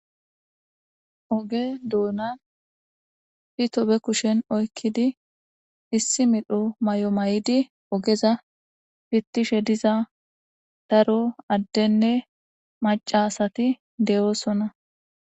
Ooge duunnan pito be kushshen oykidii issi medho Mayo maayidii oogezapiitishe diza daro addenne maca asati de'iossonna